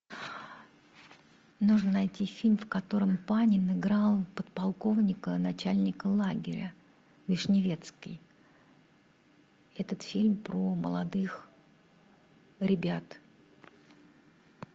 нужно найти фильм в котором панин играл подполковника начальника лагеря вишневецкий этот фильм про молодых ребят